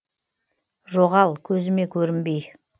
жоғал көзіме көрінбей